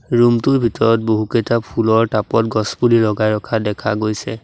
Room টোৰ ভিতৰত বহুকেইটা ফুলৰ টাব ত গছ পুলি লগাই ৰখা দেখা গৈছে।